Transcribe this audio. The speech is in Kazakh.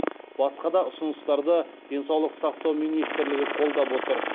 басқа да ұсыныстарды денсаулық сақтау министрлігі қолдап отыр